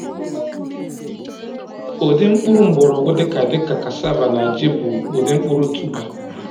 Ụdị mkpụrụ mgbọrọgwụ dịka dịka cassava na ji bụ ụdị mkpụrụ tuber.